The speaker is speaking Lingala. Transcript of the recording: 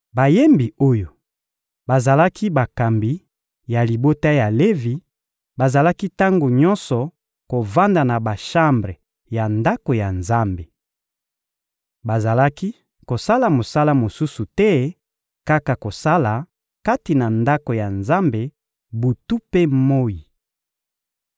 Bayembi oyo bazalaki bakambi ya libota ya Levi, bazalaki tango nyonso kovanda na bashambre ya Ndako ya Nzambe. Bazalaki kosala mosala mosusu te kaka kosala kati na Ndako ya Nzambe butu mpe moyi.